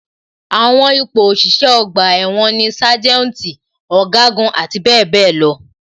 Àwọn ipò òṣìṣẹ́ ọgbà ẹ̀wọ̀n ni sájẹ́ùntì, ọ̀gágun, àti bẹẹ bẹẹ lọ.